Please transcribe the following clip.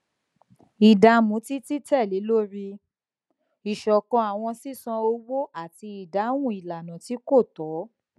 ìdààmú títí tẹlẹ lori iṣọkan àwọn sísan owó àti ìdáhùn ìlànà tí kò tó